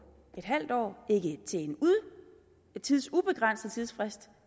en halv år ikke til en tidsubegrænset tidsfrist